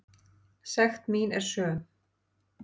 Sekt mín er söm.